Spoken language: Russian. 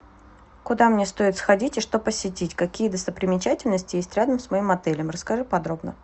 куда мне стоит сходить и что посетить какие достопримечательности есть рядом с моим отелем расскажи подробно